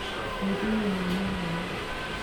Kitinyei mianwek alak